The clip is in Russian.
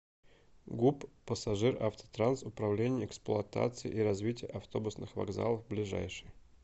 гуп пассажиравтотранс управление эксплуатации и развития автобусных вокзалов ближайший